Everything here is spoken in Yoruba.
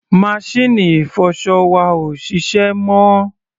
Maṣíìnì ìfọṣọ wa ò ṣiṣẹ́ mọ́.